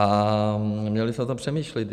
A měli bychom o tom přemýšlet.